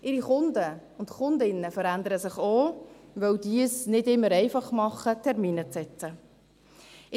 Ihre Kunden und Kundinnen verändern sich auch, weil diese es nicht immer einfach machen, Termine zu setzen.